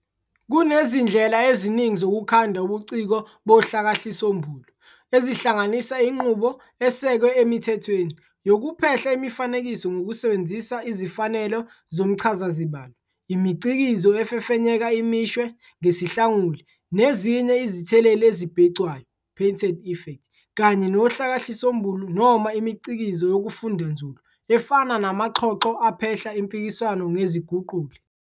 Kunezindlela eziningi zokukhanda ubuciko bohlakahlisombulu, ezihlanganisa inqubo "esekwe emithethweni" yokuphehla imifanekiso ngokusebenzisa izifanelo zomchazazibalo, imicikizo efefenyeka imishwe ngesihlanguli nezinye izitheleli ezibhecwayo "painted effects", kanye nohlakahlisombulu noma imicikizo yokufunda nzulu efana namaxhoxho aphehla impikiswano neziguquli.